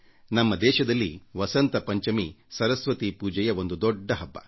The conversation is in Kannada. ನಮ್ಮ ದೇಶದಲ್ಲಿ ವಸಂತ ಪಂಚಮಿ ಸರಸ್ವತಿ ಪೂಜೆಯ ಒಂದು ದೊಡ್ಡ ಹಬ್ಬ